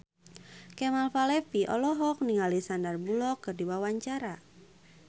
Kemal Palevi olohok ningali Sandar Bullock keur diwawancara